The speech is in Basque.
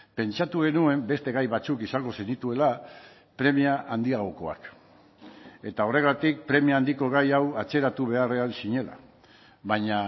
pentsatu genuen beste gai batzuk izango zenituela premia handiagokoak eta horregatik premia handiko gai hau atzeratu beharrean zinela baina